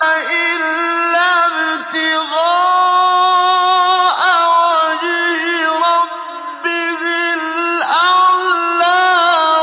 إِلَّا ابْتِغَاءَ وَجْهِ رَبِّهِ الْأَعْلَىٰ